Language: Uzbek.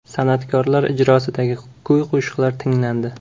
San’atkorlar ijrosidagi kuy-qo‘shiqlar tinglandi.